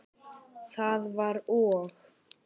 Það var og!